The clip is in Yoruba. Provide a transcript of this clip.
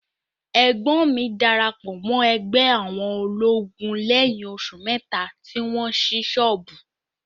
Ẹ̀gbọ́n mi darapọ̀ mọ́ ẹgbẹ́ àwọn olóògùn lẹ́yìn oṣù mẹ́ta tí wọ́n ṣí ṣọ́ọ̀bù.